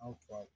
An fa